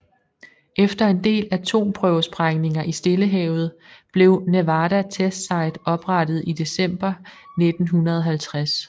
Efter en del atomprøvesprængninger i Stillehavet blev Nevada Test Site oprettet i december 1950